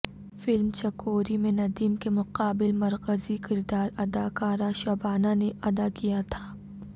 film Chakori میں ندیم کے مقابل مرکزی کردار اداکارہ شبانہ نے ادا کیا تھا